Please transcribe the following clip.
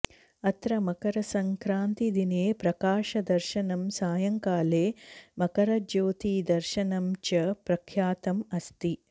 अत्र मकरसङ्क्रान्तिदिने प्रकाशदर्शनं सायङ्काले मकरज्योतिदर्शनं च प्रख्यातम् अस्ति